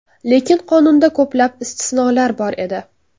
Lekin qonunda ko‘plab istisnolar bor edi.